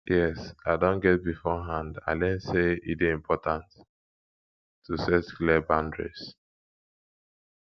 yes i don get beforeand i learn say e dey important to set clear boundaries